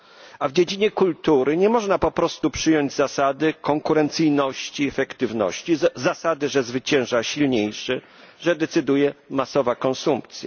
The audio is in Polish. A w dziedzinie kultury nie można po prostu przyjąć zasady konkurencyjności, efektywności zasady, że zwycięża silniejszy, że decyduje masowa konsumpcja.